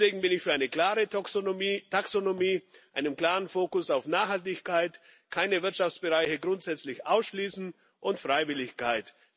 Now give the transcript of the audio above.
Deswegen bin ich für eine klare Taxonomie, einen klaren Fokus auf Nachhaltigkeit, keine Wirtschaftsbereiche grundsätzlich ausschließen und Freiwilligkeit.